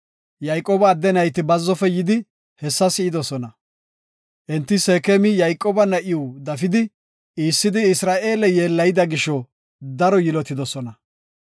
Yayqooba adde nayti bazzofe yidi hessa si7idosona. Enti Seekemi Yayqooba na7iw dafidi, iissidi Isra7eele yeellayida gisho daro yilotidosona.